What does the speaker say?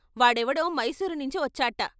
వాడెవడో మైసూరునించి వచ్చాట.